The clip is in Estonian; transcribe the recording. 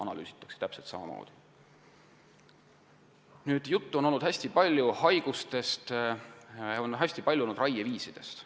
Hästi palju on olnud juttu haigustest, raieviisidest.